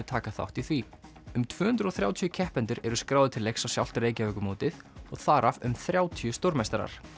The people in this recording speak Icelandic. taka þátt í því um tvö hundruð og þrjátíu keppendur eru skráðir til leiks á sjálft Reykjavíkurmótið og þar af um þrjátíu stórmeistarar